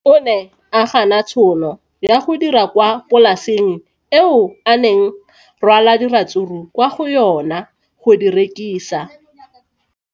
O ne a gana tšhono ya go dira kwa polaseng eo a neng rwala diratsuru kwa go yona go di rekisa.